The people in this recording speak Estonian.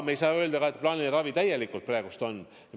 Me ei saa ka öelda, et plaaniline ravi on praegu täies mahus.